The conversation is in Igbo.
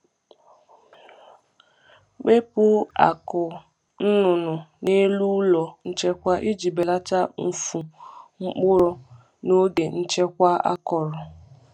Wepu akụ́ nnụnụ n’elu ụlọ nchekwa iji belata mfu mkpụrụ mfu mkpụrụ n’oge nchekwa akọrọ.